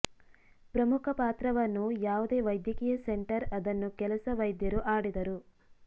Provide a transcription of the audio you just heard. ಪ್ರಮುಖ ಪಾತ್ರವನ್ನು ಯಾವುದೇ ವೈದ್ಯಕೀಯ ಸೆಂಟರ್ ಅದನ್ನು ಕೆಲಸ ವೈದ್ಯರು ಆಡಿದರು